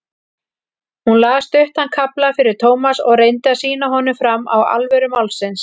Hún las stuttan kafla fyrir Thomas og reyndi að sýna honum fram á alvöru málsins.